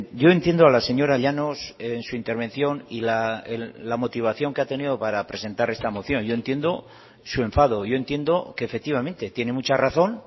yo entiendo a la señora llanos en su intervención y la motivación que ha tenido para presentar esta moción yo entiendo su enfado yo entiendo que efectivamente tiene mucha razón